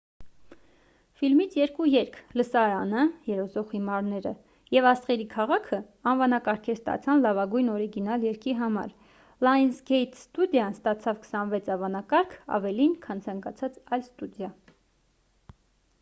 ֆիլմից երկու երգ՝ լսարանը երազող հիմարները և աստղերի քաղաքը անվանակարգեր ստացան լավագույն օրիգինալ երգի համար: լայընսգեյթ ստուդիան ստացավ 26 անվանակարգ՝ ավելին քան ցանկացած այլ ստուդիա: